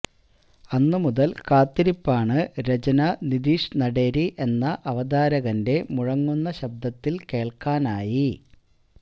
അന്നുമുതൽ കാത്തിരിപ്പാണ് രചന നിധീഷ് നടേരി എന്ന് അവതാരകന്റെ മുഴങ്ങുന്ന ശബ്ദത്തിൽ കേൾക്കാനായി